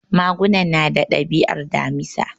Magunan nata dabi'ar Damisa.